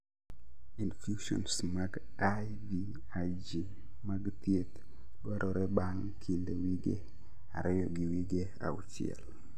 Infusions mag IVIG mag thieth dwarore bang' kind wige ariyo gi wige auchiel